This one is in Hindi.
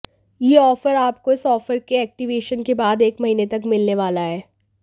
यह ऑफर आपको इस ऑफर के एक्टिवेशन के बाद एक महीने तक मिलने वाला है